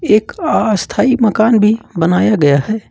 एक अस्थाई मकान भी बनाया गया है।